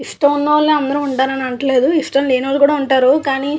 అందరూ ఉన్నోలు అందరూ అనట్లేదు. ఇష్టం లేన్నోలు కూడా ఉంటారు కానీ --